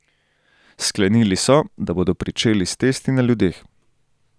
Sklenili so, da bodo pričeli s testi na ljudeh.